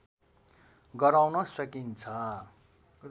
गराउन सकिन्छ